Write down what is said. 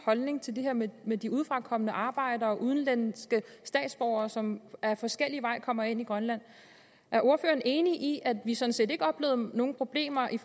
holdning til det her med med de udefra kommende arbejdere og udenlandske statsborgere som ad forskellige veje kommer ind i grønland er ordføreren enig i at vi sådan set ikke oplevede nogen problemer i